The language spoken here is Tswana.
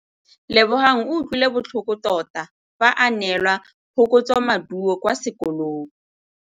Lebogang o utlwile botlhoko tota fa a neelwa phokotsômaduô kwa sekolong.